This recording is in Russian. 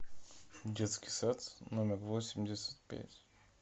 детский сад номер восемьдесят пять